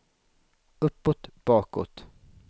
uppåt bakåt